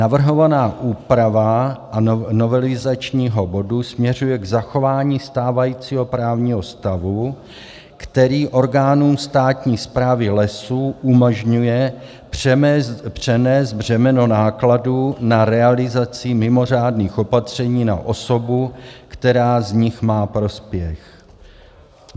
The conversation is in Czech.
Navrhovaná úprava novelizačního bodu směřuje k zachování stávajícího právního stavu, který orgánům státní správy lesů umožňuje přenést břemeno nákladů na realizaci mimořádných opatření na osobu, která z nich má prospěch.